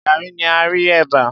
Gaàrí ni a rí ẹ̀bà.